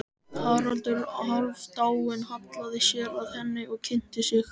Haraldur Hálfdán hallaði sér að henni og kynnti sig.